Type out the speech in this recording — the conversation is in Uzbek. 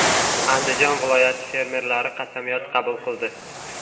Andijon viloyati fermerlari qasamyod qabul qildi .